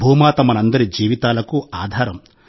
భూమాత మనందరి జీవితాలకు ఆధారం